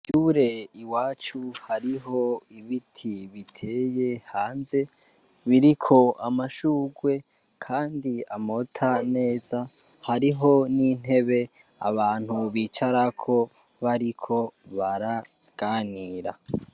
Kw’ishure i wacu hariho ibiti biteye hanze biriko amashurwe, kandi amota neza hariho n'intebe abantu bicarako bariko baraganira.